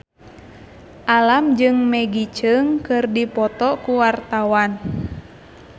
Alam jeung Maggie Cheung keur dipoto ku wartawan